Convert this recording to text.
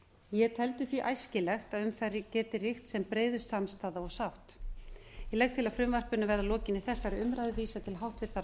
ég teldi því æskilegt að um þær geti ríkt sem breiðust samstaða og sátt ég til að frumvarpinu verði að lokinni þessari umræðu vísað til háttvirtrar